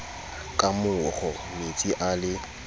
ka moro metsi a le